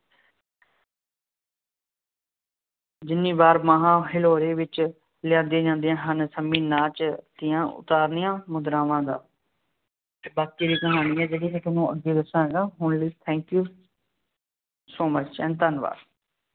ਜਿੰਨੀ ਵਾਰ ਬਾਹਾਂ ਹਿਲੋਰੇ ਵਿੱਚ ਲਿਆਂਦੀਆਂ ਜਾਦੀਆਂ ਹਨ, ਸੰਮੀ ਨਾਚ ਦੀਆਂ ਉਤਾਰਨੀਆਂ ਮੁਦਰਾਂਵਾਂ ਦਾ ਬਾਕੀ ਦੀ ਕਹਾਣੀ ਹੈ ਜਿਹੜੀ ਮੈਂ ਤੁਹਾਨੂੰ ਅੱਗੇ ਦੱਸਾਂਗਾ, ਹੁਣ ਲਈ thank you so much and ਧੰਨਵਾਦ।